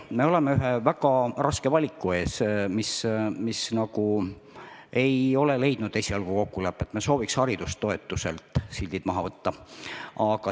Me oleme ühe väga raske valiku ees, mis esialgu ei ole leidnud kokkulepet, nimelt sooviksime haridustoetuselt sildid maha võtta.